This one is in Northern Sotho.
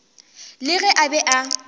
le ge a be a